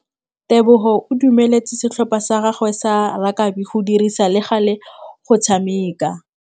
Tebogô o dumeletse setlhopha sa gagwe sa rakabi go dirisa le galê go tshameka.